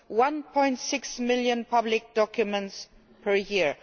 1.6 million public documents per year.